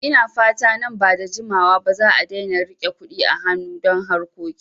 Ina fata nan ba da jimawa ba za'a daina rike Kuɗi a hanu don harkoki